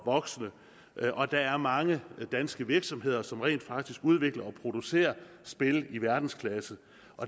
voksne og der er mange danske virksomheder som rent faktisk udvikler og producerer spil i verdensklasse